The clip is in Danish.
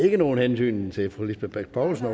ikke nogen hentydning til fru lisbeth bech poulsen